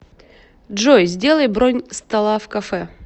джой сделай бронь стола в кафе